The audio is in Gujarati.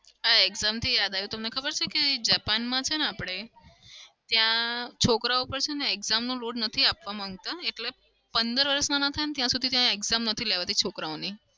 હા exam થી યાદ આવ્યું કે તમને ખબર છે કે જાપાનમાં છે ને આપણે ત્યાં છોકરાઓ પર exam નો load નથી આપવા માંગતા. એટલે પદર વર્ષના ના થાય ત્યાં સુધી ત્યાં exam નથી લેવાતી છોકરાઓની.